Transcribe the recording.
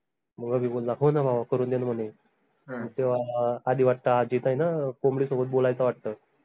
मग अभि बोलला हो न भावा करून देन म्हने तेवा आधी वाट्त हा जीत आहे न कोंबडी सोबत बोलायचं वाट्ट